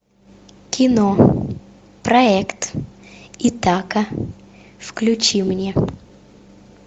кино проект итака включи мне